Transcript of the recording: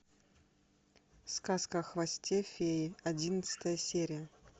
сказка о хвосте феи одиннадцатая серия